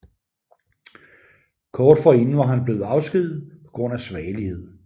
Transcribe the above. Kort forinden var han blevet afskediget på grund af svagelighed